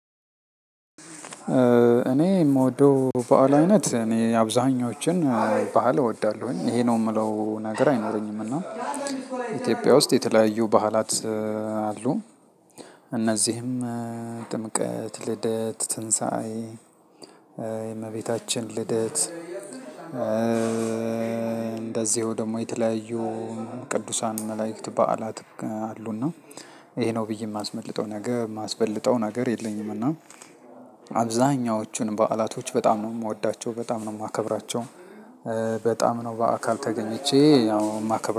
እኔ የምወደው በዓል አይነት እኔ አብዛኛዎቹን በዓል እወዳለሁ ይሄ ነው የምለው ነገር አይኖረኝምና ኢትዮጵያ ውስጥ የተለያዩ ባህላት አሉ። እነዚህም ጥምቀት፣ ልደት፣ ትንሣኤ የእመቤታችን ልደት እንደዚሁ ደግሞ የተለያዩ ቅዱሳን መላእክት በዓላት። አሉና ይሄ ነው ብዬ የማስበልጠው ነገር የለኝምና። አብዛኛዎቹን በዓላቶች በጣም ነው የምወዳቸው እና በጣም ነው የማከብራቸው። በጣም ነው በአካል ተገኝቼ ያው የማከብር